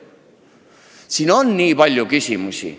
Ühesõnaga, on väga palju küsimusi.